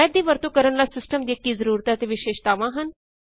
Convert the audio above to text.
math ਦੀ ਵਰਤੋਂ ਕਰਨ ਲਈ ਸਿਸਟਮ ਦੀਆਂ ਕੀ ਜ਼ਰੂਰਤਾਂ ਅਤੇ ਵਿਸ਼ੇਸ਼ਤਾਵਾਂ ਹਨ